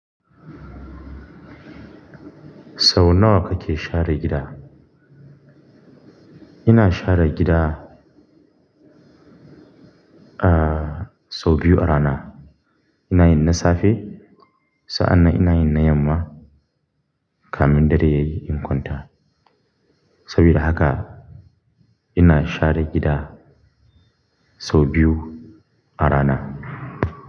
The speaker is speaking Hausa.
Sau nawa kake share gida? Ina share gida, ah, sau biyu a rana. Ina yin na safe, sa'an nan ina yin na yamma kamin dare yayi inkwanta. Saboda haka ina share gida sau biyu a rana.